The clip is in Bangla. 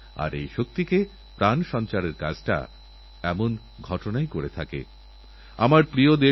আপনাদের শুভেচ্ছাবার্তা এইসব খেলোয়োড়দের কাছে পৌঁছনোরজন্য দেশের প্রধানমন্ত্রী ডাকপিওন হতে প্রস্তুত